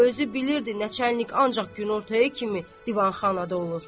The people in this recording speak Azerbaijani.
O özü bilirdi načərnik ancaq günortaya kimi divanxanada olur.